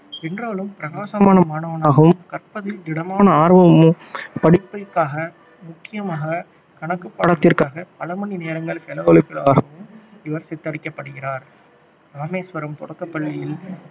என்றாலும் பிரகாசமான மாணவனாகவும் கற்பதில் திடமான ஆர்வமும் படிப்பிற்காக முக்கியமாக கணக்கு பாடத்திற்காக பல மணி நேரங்கள் செலவழிப்பவராகவும் இவர் சித்தரிக்கப்படுகிறார் இராமேஸ்வரம் தொடக்க பள்ளியில்